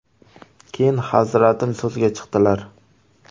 Keyin Hazratim so‘zga chiqdilar.